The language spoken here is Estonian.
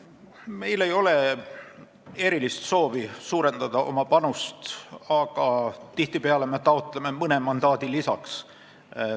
Meil ei ole erilist soovi oma panust suurendada, aga tihtipeale me taotleme mõne mandaadi lisaks.